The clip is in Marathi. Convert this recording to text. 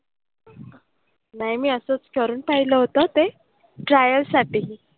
नाही मी असंच करून पाहिलं होतं ते. Trial साठी.